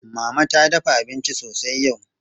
Mama ta dafa abinci sosai yau.